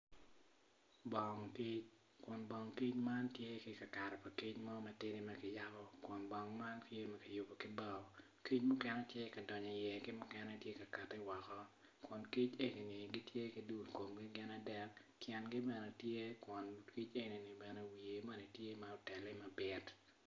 Bong kic, kun bong kic man tye ikakare pa kic mo matye matidi makiyabo kun bong man tye makiyubo ki bao kic mukene tye ka donyo i ye ki mukene tye kati woko kun kic enini gitye ki dul kom gin adek tyen gi bene kun kic eni wiye moni tye ma otene mabit.